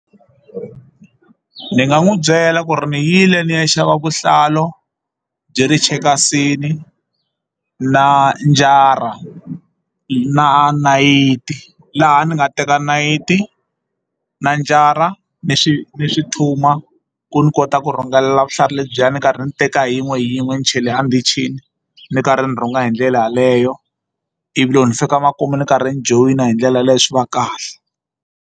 Ni nga n'wi byela ku ri ni yile ni ya xava vuhlalu byi ri chekasini na njara na nayiti laha ni nga teka nayiti na njara ni swi ni swi ku ni kota ku rhungelela vutlhari lebyiya ni karhi ni teka yin'we yin'we ni chele a ndhichini ni karhi ni rhunga hi ndlela yeleyo ivi loko ni fika makumu ni karhi ni joyina hi ndlela yaleyo swi va kahle.